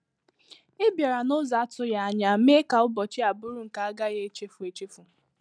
Ị bịara n’ụzọ a-atụghị anya mee ka ụbọchị a bụrụ nke a gaghị echefu echefu